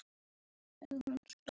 Er hún stór?